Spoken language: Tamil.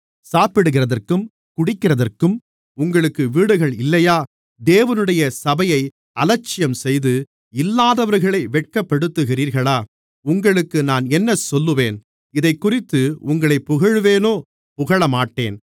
சாப்பிடுகிறதற்கும் குடிக்கிறதற்கும் உங்களுக்கு வீடுகள் இல்லையா தேவனுடைய சபையை அலட்சியம்செய்து இல்லாதவர்களை வெட்கப்படுத்துகிறீர்களா உங்களுக்கு நான் என்ன சொல்லுவேன் இதைக்குறித்து உங்களைப் புகழ்வேனோ புகழமாட்டேன்